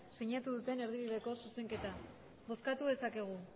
sinatu duten erdibideko zuzenketa bozkatu dezakegu